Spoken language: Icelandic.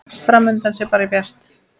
Fram undan sé bara bjart.